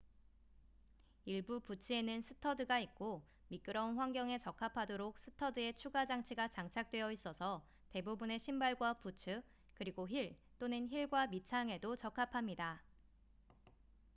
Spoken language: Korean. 일부 부츠에는 스터드가 있고 미끄러운 환경에 적합하도록 스터드에 추가 장치가 장착되어 있어서 대부분의 신발과 부츠 그리고 힐 또는 힐과 밑창에도 적합합니다